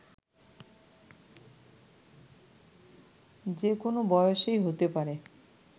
যে কোনো বয়সেই হতে পারে